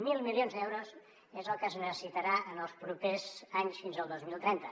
mil milions d’euros és el que es necessitarà en els propers anys fins al dos mil trenta